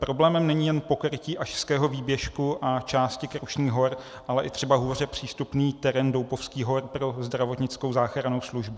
Problémem není jen pokrytí Ašského výběžku a části Krušných hor, ale i třeba hůře přístupný terén Doupovských hor pro zdravotnickou záchrannou službu.